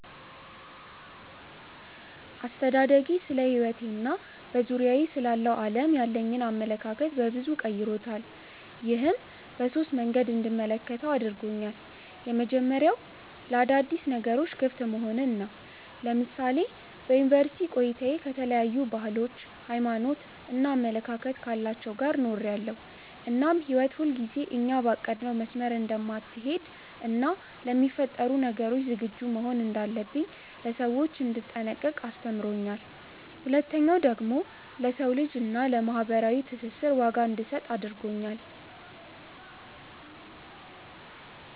አስተዳደጌ ስለሕይወቴ እና በዙሪያዬ ስላለው ዓለም ያለኝን አመለካከት በበዙ ቀይሮታል። ይህም በሶስት መንገዶች እንድመለከተው አድርጎኛል። የመጀመሪያው ለአዳዲስ ነገሮች ክፍት መሆንን ነው። ለምሳሌ በዩኒቨርስቲ ቆይታዬ ከተለያዩ ባህሎች፣ ሃይማኖት እና አመለካከት ካላቸው ጋር ኖሬያለው እናም ህይወት ሁልጊዜ እኛ ባቀድነው መስመር እንደማትሀለድ እና ለሚፈጠሩ ነገሮች ዝግጁ መሆን እንዳለብኝ፣ ለሰዎች እንድጠነቀቅ አስተምሮኛል። ሁለተኛው ደግሞ ለሰው ልጅ እና ለማህበራዊ ትስስር ዋጋ እንድሰጥ አድርጎኛል።